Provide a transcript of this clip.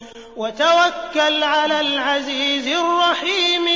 وَتَوَكَّلْ عَلَى الْعَزِيزِ الرَّحِيمِ